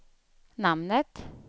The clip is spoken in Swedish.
namnet